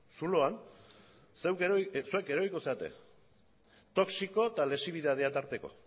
zuloan zeuek eroriko zarete toxiko eta lexibidadea tarteko